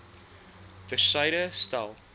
ter syde stel